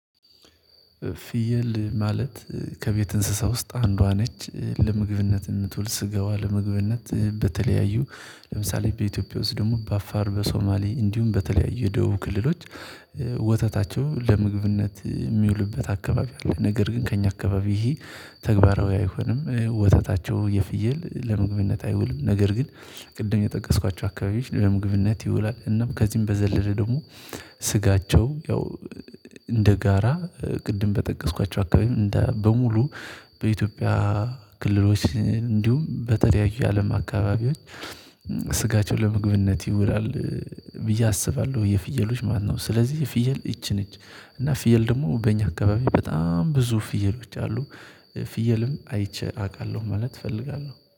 ፊየል ማለት ከቤት እንስሳ ውስጥ አንዷ ነች ለመግብነት እንትውል ስጋዋ ለመግብነት በተለያዩ ለምሳሌ በኢትዮጵያ ውስጥ ደግሞ በአፋር በሶማሊ እንዲሁም በተለያዩ የደቡብ ክልሎች ወተታቸው ለምግብነት የሚውልበት አካባቢ አለ። ነገር ግን ከእኛ አካባቢ ይሄ ተግባራዊ አይሆንም ወተታቸው የፍየል ለምግብነት አይውልም። ነገር ግን ቅድም የጠቀስኳቸው አካባቢዎች ለምግብነት ይውላል። እናም ከዚህም በዘለለ ደግሞ ስጋቸው ያው እንደ ጋራ ቅድም በጠቀስኳቸው አካባቢ በሙሉ በኢትዮጵያ ክልሎች እንዲሁም በተለያዩ አለም አካባቢዎች ስጋቸው ለመግብነት ይውላል። ብዬ አስባለሁ የፍየሎች ማለት ነው። ስለዚህ ፍየል እቺ ነች እና ፍየል ደግሞ በእኛ አካባቢ በጣም ብዙ ፍየሎች አሉ። ፍየልም አይቼ አውቃለሁ ማለት እፈልጋለሁ